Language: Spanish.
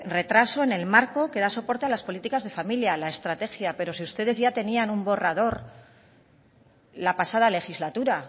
retraso en el marco que da soporte a las políticas de familia la estrategia pero si ustedes ya tenían un borrador la pasada legislatura